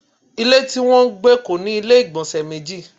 Ilé tí wọn ń gbé kò ní ilé igbonse méjì